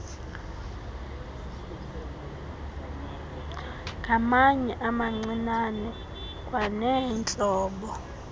ngamatye amancinane kwaneentlobo